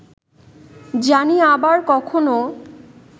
জানি আবার কখনো